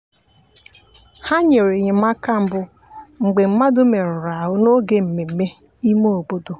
ha nyere enyemaka mbụ mgbe mmadụ merụrụ ahu n'oge mmemme ime obodo.